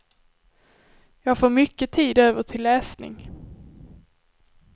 Jag får mycket tid över till läsning.